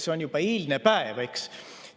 See on juba eilne päev, eks.